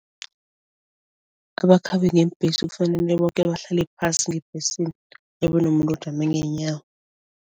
Abakhambi ngeembhesi kufanele boke bahlale phasi ngebhesini nomuntu ojame ngeenyawo.